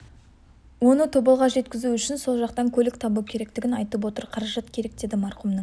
оны тоболға жеткізу үшін сол жақтан көлік табу керектігін айтып отыр қаражат керек деді марқұмның